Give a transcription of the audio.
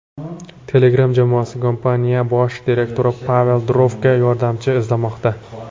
Telegram jamoasi kompaniya bosh direktori Pavel Durovga yordamchi izlamoqda.